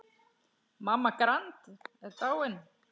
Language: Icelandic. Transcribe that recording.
Mamma Grand er dáin.